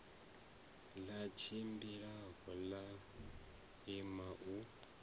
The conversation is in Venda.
ḽa tshimbilanyana ḽa ima u